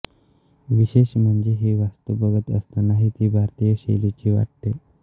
विशेष म्हणजे ही वास्तू बघत असतानाही ती भारतीय शैलीची वाटते